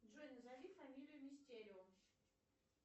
джой назови фамилию мистерио